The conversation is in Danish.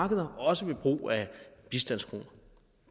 markeder også ved brug af bistandskroner